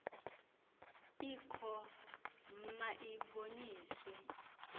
ikho ma iboniswe